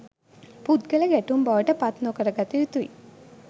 පුද්ගල ගැටුම් බවට පත් නො කර ගත යුතුයි